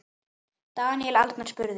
Daníel Arnar spurði